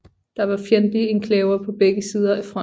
Der var fjendtlige enklaver på begge sider af fronten